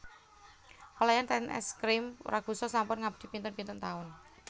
Pelayan ten Es Krim Ragusa sampun ngabdi pinten pinten taun